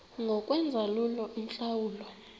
ngokwenza lula iintlawulo